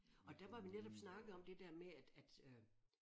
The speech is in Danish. Og der hvor vi netop snakkede om det der med at at øh